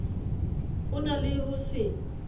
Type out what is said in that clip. o na le ho se